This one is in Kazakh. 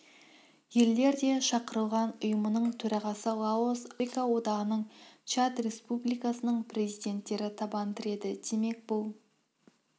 елдер де шақырылған ұйымының төрағасы лаос африка одағының чад республикасының президенттері табан тіреді демек бұл